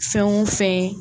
Fɛn o fɛn ye